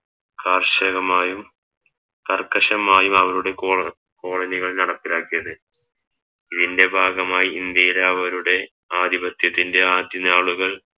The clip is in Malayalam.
കർഷകമായും കർക്കശമായും അവരുടെ കോള കോളനികൾ നടപ്പിലാക്കിയത് ഇതിൻറെ ഭാഗമായി ഇന്ത്യയിൽ അവരുടെ ആധിപത്യത്തിൻറെ ആദ്യനാളുകൾ